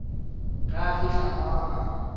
ge a fihla fao a